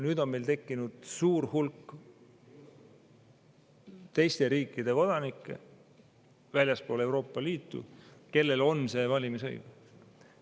Nüüd on meil tekkinud suur hulk teiste riikide kodanikke väljastpoolt Euroopa Liitu, kellel on see valimisõigus.